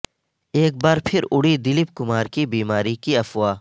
ایک بار پھر اڑی دلیپ کمار کی بیماری کی افواہ